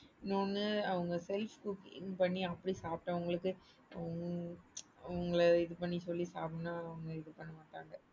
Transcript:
இன்னொன்னு அவங்க self cook இது பண்ணி அப்படி சாப்டவங்களுக்கு உங்கள இது பண்ணி சொல்லி சாப்ட இது பண்ண மாட்டாங்க.